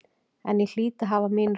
En ég hlýt að hafa mín rök.